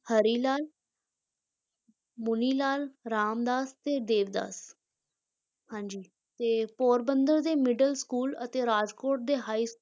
ਹਰੀ ਲਾਲ ਮੁਨੀ ਲਾਲ, ਰਾਮ ਦਾਸ ਤੇ ਦੇਵਦਾਸ ਹਾਂਜੀ ਤੇ ਪੋਰਬੰਦਰ ਦੇ middle school ਅਤੇ ਰਾਜਕੋਟ ਦੇ high